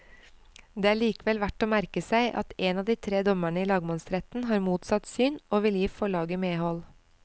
Det er likevel verdt å merke seg at en av de tre dommerne i lagmannsretten har motsatt syn, og vil gi forlaget medhold.